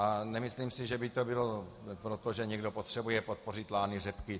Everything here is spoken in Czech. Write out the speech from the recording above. A nemyslím si, že by to bylo proto, že někdo potřebuje podpořit lány řepky.